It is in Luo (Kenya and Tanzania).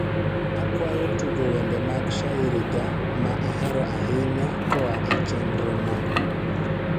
akwayo tugo wende mag shairi ga mahero ahinya koa e chenrona